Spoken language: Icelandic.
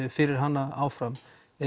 fyrir hana áfram